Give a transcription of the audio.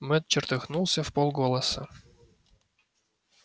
мэтт чертыхнулся вполголоса